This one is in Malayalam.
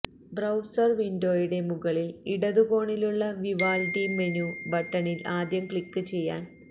ബ്രൌസർ വിൻഡോയുടെ മുകളിൽ ഇടത് കോണിലുള്ള വിവാൽഡി മെനു ബട്ടണിൽ ആദ്യം ക്ലിക്ക് ചെയ്യാൻ